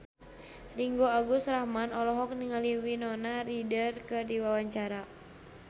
Ringgo Agus Rahman olohok ningali Winona Ryder keur diwawancara